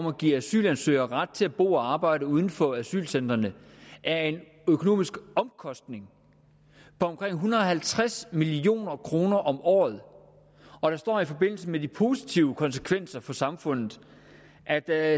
at give asylansøgere ret til at bo og arbejde uden for asylcentrene er en økonomisk omkostning på omkring en hundrede og halvtreds million kroner om året og der står i forbindelse med de positive konsekvenser for samfundet at der